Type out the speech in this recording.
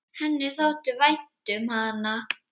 Henni þótti vænt um hana.